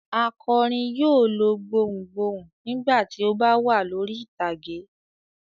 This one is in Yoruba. Akọrin yóò lo gbohùn gbohùn nígbà tí ó bá wà lórí ìtàgé.